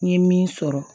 N ye min sɔrɔ